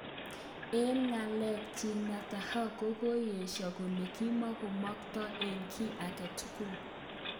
Eng nga'lalet nyin Netanyahu kokoyesho kole kimankoboto eng kiy agetugul.